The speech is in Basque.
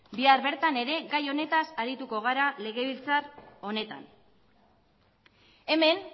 bihar bertan ere gai honetaz arituko gara legebiltzar honetan hemen